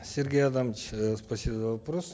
сергей адамович э спасибо за вопрос